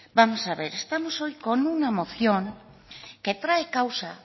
vamos a ver estamos hoy con una moción que trae causa